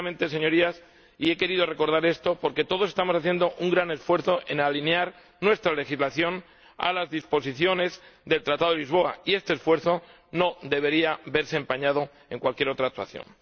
Señorías, he querido recordar esto porque todos estamos haciendo un gran esfuerzo para alinear nuestra legislación a las disposiciones del Tratado de Lisboa, y este esfuerzo no debería verse empañado por cualquier otra actuación.